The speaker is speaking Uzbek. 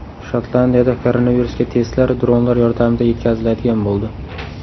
Shotlandiyada koronavirusga testlar dronlar yordamida yetkaziladigan bo‘ldi.